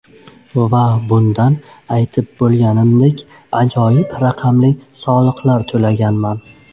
Va bundan, aytib bo‘lganimdek, ajoyib raqamli soliqlar to‘laganman.